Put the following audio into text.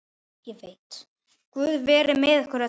Guð veri með ykkur öllum.